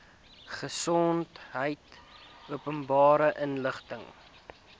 gesondheid openbare inligting